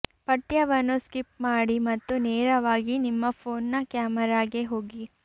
ಪಠ್ಯವನ್ನು ಸ್ಕಿಪ್ ಮಾಡಿ ಮತ್ತು ನೇರವಾಗಿ ನಿಮ್ಮ ಫೋನ್ನ ಕ್ಯಾಮೆರಾಗೆ ಹೋಗಿ